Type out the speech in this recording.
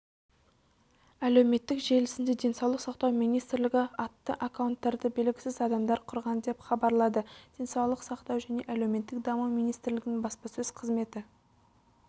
әлеуметтік желісінде денсаулық сақтау министрлігі атты аккаунттарды белгісіз адамдар құрған деп хабарлады денсаулық сақтау және әлеуметтік даму министрлігінің баспасөз қызметі